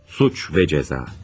Cinayət və Cəza.